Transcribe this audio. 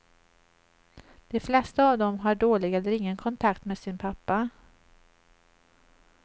De flesta av dem har dålig eller ingen kontakt med sin pappa.